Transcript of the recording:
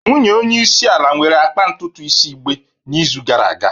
Nwunye onye isi ala nwere akpa ntutu isi igbe n'izu gara aga